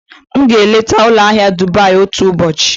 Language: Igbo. M ga-eleta ụlọ ahịa Dubai otu ụbọchị.